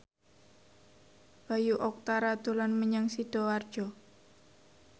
Bayu Octara dolan menyang Sidoarjo